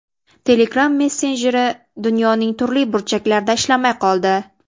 Telegram messenjeri dunyoning turli burchaklarida ishlamay qoldi.